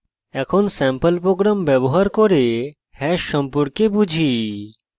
এখন sample program ব্যবহার করে hash সম্পর্কে বুঝি